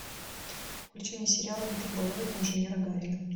включи мне сериал гиперболоид инженера гарина